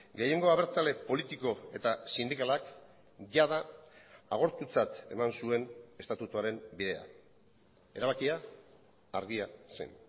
gehiengo abertzale politiko eta sindikalak jada agortutzat eman zuen estatutuaren bidea erabakia argia zen